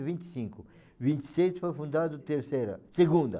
vinte e cinco, vinte e seis foi fundado Terceira, Segunda.